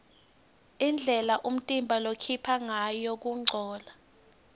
indlela umtimba lokhipha ngayo kungcola